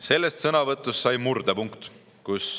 Sellest sõnavõtust sai murdepunkt.